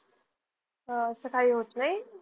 असं काही होत नाही.